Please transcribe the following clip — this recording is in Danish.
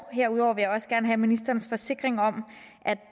herudover vil jeg også gerne have ministerens forsikring om